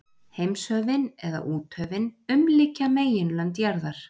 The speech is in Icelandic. Heimshöfin, eða úthöfin, umlykja meginlönd jarðar.